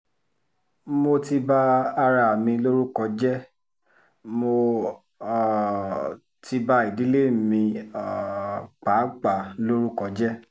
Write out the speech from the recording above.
mo ti ba ara mi lórúkọ jẹ́ mo um ti ba ìdílé mi um pàápàá lórúkọ jẹ́